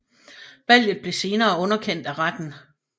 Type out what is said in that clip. Valget blev senere underkendt af retten